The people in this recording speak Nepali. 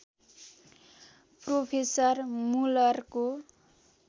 प्रोफेसर मुलरको